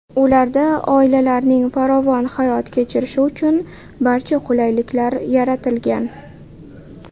Ularda oilalarning farovon hayot kechirishi uchun barcha qulayliklar yaratilgan.